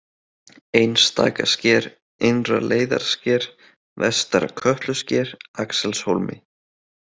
Einstakasker, Innra-Leiðarsker, Vestara-Kötlusker, Axelshólmi